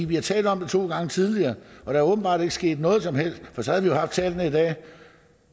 vi har talt om det to gange tidligere og der er åbenbart ikke sket noget som helst for så havde vi haft tallene i dag